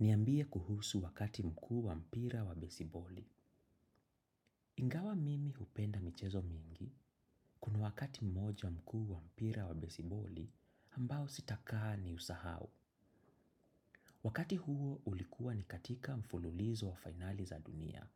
Niambie kuhusu wakati mkuu wa mpira wa basiboli. Ingawa mimi hupenda michezo mingi, kuna wakati mmoja mkuu wa mpira wa besiboli, ambao sitakaa ni husahau. Wakati huo ulikuwa ni katika mfululizo wa finali za dunia,